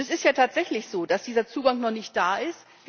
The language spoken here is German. Es ist ja tatsächlich so, dass dieser Zugang noch nicht da ist.